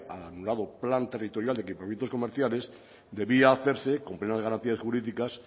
al anulado plan territorial de equipamientos comerciales debía hacerse con plena de garantías jurídicas